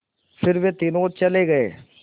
फिर वे तीनों चले गए